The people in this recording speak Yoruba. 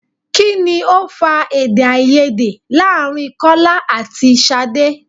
Kini ó fa Èdèáiyedé láàrin Kọ́lá àti Ṣadé?